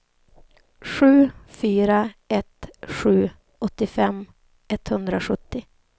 sju fyra ett sju åttiofem etthundrasjuttio